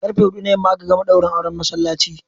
Karfe huɗu na yamma aka gama daurin auren masallaci.